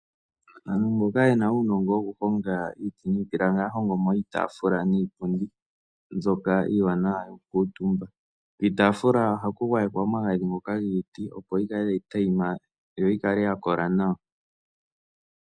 Aantu mboka ye na uunongo wokuhonga iiti niipilangi ohaya hongo mo iitaafula niipundi mbyoka iiwanawa nokukuutumba. Kiitaafula ohaku gwayekwa omagadhi ngoka giiti, opo yi kale tayi tayima yi kale ya kola nawa.